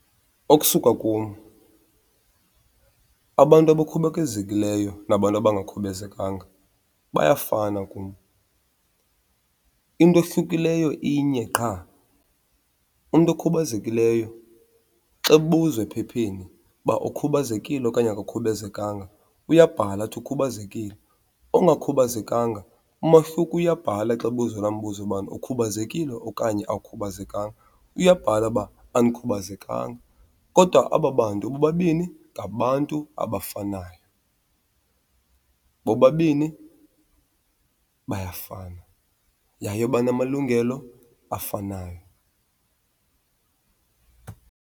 Okusuka kum, abantu abakhubazekileyo nabantu abangakhubazekanga bayafana kum. Into ehlukileyo inye qha, umntu okhubazekileyo xa kubuzwa ephepheni uba ukhubazekile okanye akakhubazekanga uyabhala athi ukhubazekile. Ongakhubazekanga, umahluko uyabhala xa ebuzwa laa mbuzo ubana ukhubazekile okanye awukhubazekanga, uyabhala uba andikhubazekanga. Kodwa aba bantu bobabini ngabantu abafanayo, bobabini bayafana yaye banamalungelo afanayo.